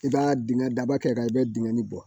I b'a dingɛ daba kɛrɛ kan i bɛ dingɛ nin bɔ